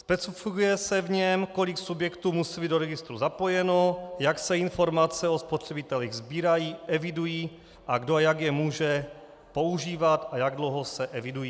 Specifikuje se v něm, kolik subjektů musí být do registru zapojeno, jak se informace o spotřebitelích sbírají, evidují a kdo a jak je může používat a jak dlouho se evidují.